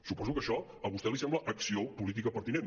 suposo que això a vostè li sembla acció política pertinent